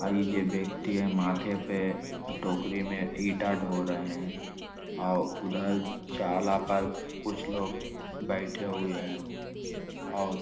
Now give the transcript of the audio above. और ई जे व्यक्ति हैं माथे पे टोकरी में ईटा ढो रहें हैं और उधर चाला पर कुछ लोग बैठे हुए हैं और --